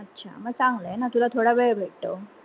अच्छा मंग चांगल आहे ना तुला थोडा वेळ भेटतो